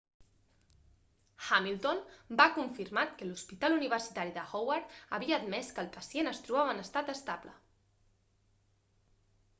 hamilton va confirmat que l'hospital universitari de howard havia admès que el pacient es trobava en estat estable